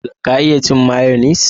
Ka iya cin mayonis?